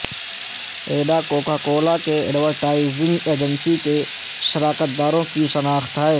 ایڈا coca cola کے advertising agency کے شراکت داروں کی شناخت ہے